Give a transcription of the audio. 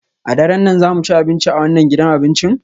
A daren nan za mu ci abinci a wannan gidan abincin?